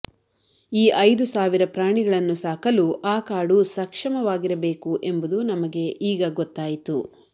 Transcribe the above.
ಈ ಐದು ಸಾವಿರ ಪ್ರಾಣಿಗಳನ್ನು ಸಾಕಲು ಆ ಕಾಡು ಸಕ್ಷಮವಾಗಿರಬೇಕು ಎಂಬುದು ನಮಗೆ ಈಗ ಗೊತ್ತಾಯಿತು